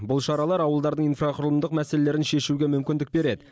бұл шаралар ауылдардың инфрақұрылымдық мәселелерін шешуге мүмкіндік береді